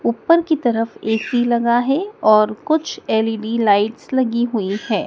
ऊपर की तरफ ए_सी लगा है और कुछ एल_इ_डी लाइट्स लगी हुई है।